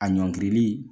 A ɲɔngirili